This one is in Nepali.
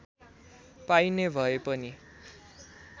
पाइने भए पनि